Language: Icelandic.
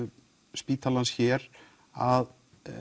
spítalans hér að